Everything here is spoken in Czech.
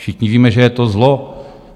Všichni víme, že je to zlo.